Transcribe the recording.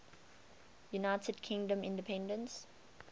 united kingdom independence